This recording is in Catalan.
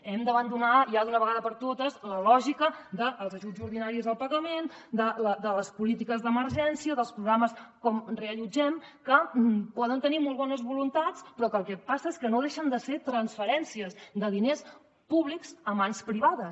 hem d’abandonar ja d’una vegada per totes la lògica dels ajuts ordinaris al pagament de les polítiques d’emergència dels programes com reallotgem que poden tenir molt bones voluntats però que el que passa és que no deixen de ser transferències de diners públics a mans privades